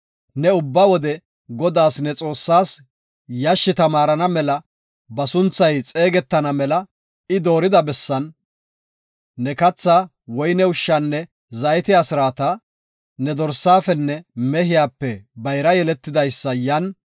Ne ubba wode Godaas ne Xoossaas, yashshi tamaarana mela ba sunthay xeegetana mela I doorida bessan, ne kathaa, woyne ushshaanne zaytiya asraata, ne dorsafenne mehiyape bayra yeletidaysa yan, Godaa, ne Xoossaa sinthan ma.